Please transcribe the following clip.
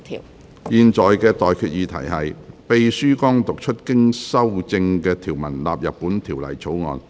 我現在向各位提出的待決議題是：秘書剛讀出經修正的條文納入本條例草案。